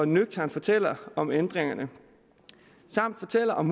nøgternt fortæller om ændringerne samt fortæller om